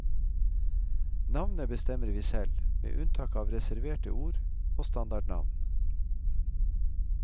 Navnet bestemmer vi selv, med unntak av reserverte ord og standardnavn.